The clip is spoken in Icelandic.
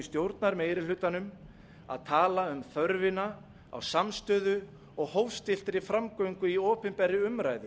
stjórnarmeirihlutanum að tala um þörfina á samstöðu og hófstilltri framgöngu í opinberri umræðu